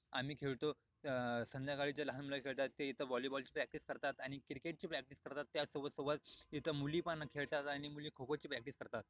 आम्ही खेळतो अ संध्याकाळचे लहान मुल खेळतात ते इथ हॉलीबॉलची प्रॅक्टीस करतात आणि क्रिकेट ची प्रॅक्टिस करतात त्याच सोबत सोबत इथ मुली पण खेळतात आणि मुली खोखोची प्रॅक्टिस करतात.